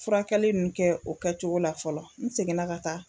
Furakɛli ninnu kɛ o kɛ cogo la fɔlɔ, n seginna ka taa